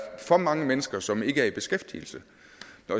for mange mennesker som ikke er i beskæftigelse